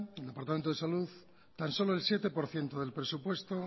en el departamento de salud tan solo el siete por ciento del presupuesto